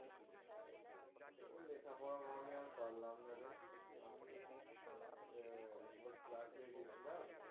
ওই লেখাপড়া আমি আর পারলাম না রে, আমি একবার class এ গেছিলাম.